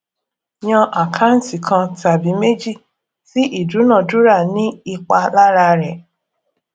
yan àkáǹtì kan tàbí méjì tí ìdúnadúrà ní ipa lára rẹ